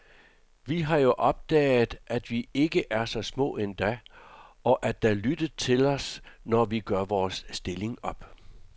Vi har jo opdaget, at vi ikke er så små endda, og at der lyttes til os, når vi gør vores stilling op.